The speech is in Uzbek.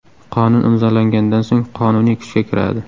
Qonun imzolangandan so‘ng qonuniy kuchga kiradi.